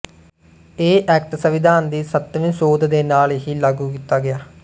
ਇਹ ਐਕਟ ਸਵਿਧਾਨ ਦੀ ਸਤਵੀਂ ਸੋਧ ਦੇ ਨਾਲ ਹੀ ਲਾਗੂ ਕੀਤਾ ਗਇਆ